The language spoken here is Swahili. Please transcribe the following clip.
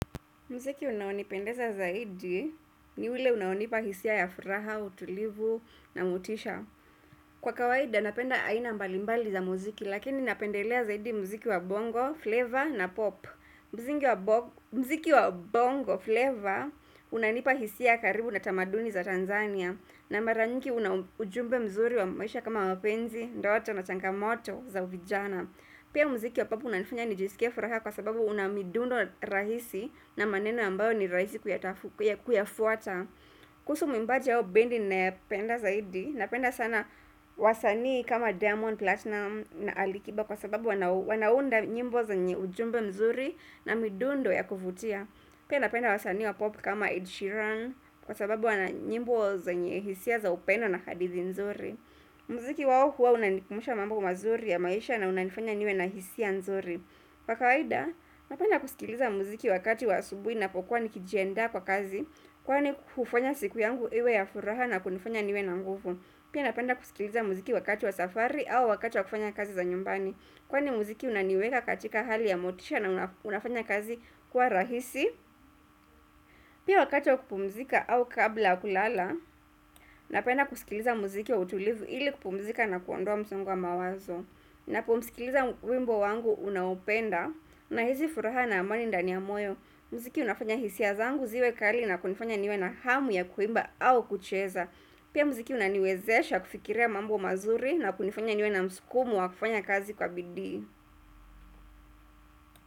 Mziki unaonipendeza zaidi ni ule unaonipa hisia ya furaha, utulivu na motisha. Kwa kawaida, napenda aina mbalimbali za muziki, lakini napendelea zaidi muziki wa bongo, flavor na pop. Mziki wa bongo, flavor, unanipa hisia karibu na tamaduni za Tanzania. Na mara nyingi una ujumbe mzuri wa maisha kama mapenzi, ndoa cha machangamoto za vijana. Pia mziki wa popu unanifanya nijisikie furaha kwa sababu una midundo rahisi na maneno ambayo ni rahisi kuyafuata. Kuhusu mwimbaji hao bendi ninayapenda zaidi, napenda sana wasanii kama Diamond Platinum na Ali kiba kwa sababu wanaunda nyimbo zenye ujumbe mzuri na midundo ya kuvutia. Pia napenda wasani wa pop kama Ed Sheeran kwa sababu wana nyimbo zenye hisia za upendo na hadithi nzuri. Muziki wao huwa unanikumbusha mambo mazuri ya maisha na unanifanya niwe na hisia nzuri Kwa kawaida, napenda kusikiliza muziki wakati wa asubui napokuwa nikijiandaa kwa kazi Kwani hufanya siku yangu iwe ya furaha na kunifanya niwe na nguvu Pia napenda kusikiliza muziki wakati wa safari au wakati wa kufanya kazi za nyumbani Kwani muziki unaniweka katika hali ya motisha na unafanya kazi kuwa rahisi Pia wakati wa kupumzika au kabla ya kulala Napenda kusikiliza muziki kwa utulivu ili kupumzika na kuondoa msongo wa mawazo Napomsikiliza wimbo wangu unaopenda Nahizi furaha na amani ndani ya moyo Mziki unafanya hisia zangu ziwe kali na kunifanya niwe na hamu ya kuimba au kucheza Pia mziki unaniwezesha kufikiria mambo mazuri na kunifanya niwe na msukumo wa kufanya kazi kwa bidii.